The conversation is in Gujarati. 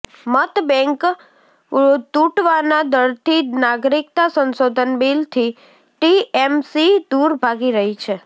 મતબેંક તુટવાના ડરથી નાગરિકતા સંશોધન બિલથી ટીએમસી દૂર ભાગી રહી છે